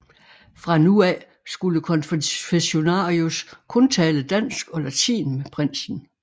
Fra nu af skulle konfessionarius kun tale dansk og latin med prinsen